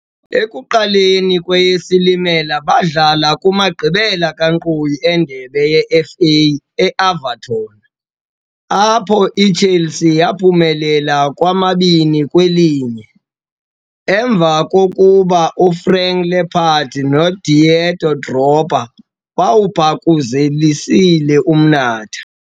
Ekuqalekeni kweyeSilimela baadlala kumagqibela kankqoyi endebe yeFA e-Everton, apho iChelsea yaaphumelela ngo-2-1, emva kokuba uFrank Lampard noDidier Drogba bewubhakuzelisile umnatha.